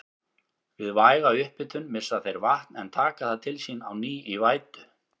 Við væga upphitun missa þeir vatn en taka það til sín á ný í vætu.